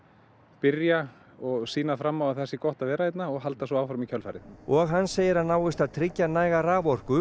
byrja og sýna fram á að það sé gott að vera hérna og halda svo áfram í kjölfarið og hann segir að náist að tryggja næga raforku